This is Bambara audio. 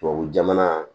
Tubabu jamana